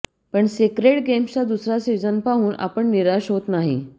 पण सेक्रेड गेम्सचा दुसरा सिझन पाहून आपण निराश होत नाही